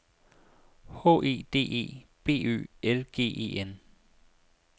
H E D E B Ø L G E N